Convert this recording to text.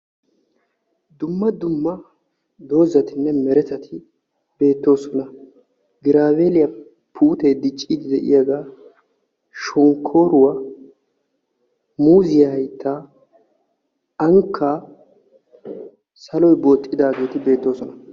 Dumma dumma dozatinne meretati beettoosona. Giraaveeliya puutee dicciiddi de'iyagaa, shonkkooruwa, muuziya hayttaa, ankkaa, saloy booxxidaageeti beettoosona.